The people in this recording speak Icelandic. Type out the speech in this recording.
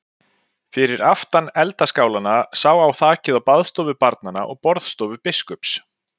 Fyrir aftan eldaskálana sá á þakið á baðstofu barna og borðstofu biskups.